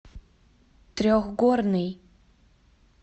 трехгорный